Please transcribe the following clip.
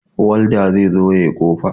Walda zai zo ya yi kofa.